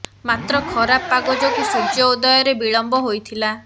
ମାତ୍ର ଖରାପ ପାଗ ଯୋଗୁଁ ସୂଯ୍ୟ ଉଦୟରେ ବିଳମ୍ବ ହୋଇଥିଲା